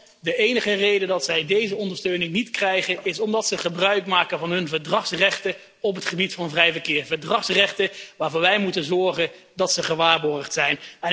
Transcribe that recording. Want de enige reden dat zij deze ondersteuning niet krijgen, is omdat ze gebruik maken van hun verdragsrechten op het gebied van vrij verkeer, verdragsrechten waarvoor wij moeten zorgen dat ze gewaarborgd zijn.